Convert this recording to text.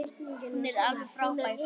Hún er alveg frábær.